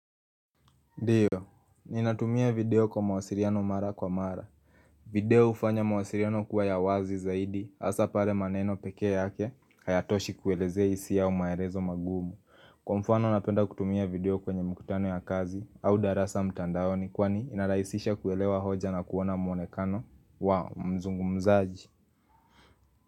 Ndiyo, ninatumia video kwa mawasiliano mara kwa mara. Video hufanya mawasiliano kuwa ya wazi zaidi, hasa pale maneno peke yake. Hayatoshi kuelezea hisia au maelezo magumu. Kwa mfano napenda kutumia video kwenye mkutano ya kazi, au darasa mtandaoni kwani inarahisisha kuelewa hoja na kuona mwonekano. Wa, mzungumzaji.